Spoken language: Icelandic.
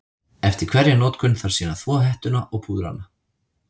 Eftir hverja notkun þarf síðan að þvo hettuna og púðra hana.